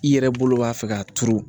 I yɛrɛ bolo b'a fɛ k'a turu